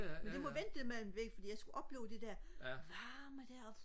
det må vente det med den der væg for jeg skulle opleve det der varme der og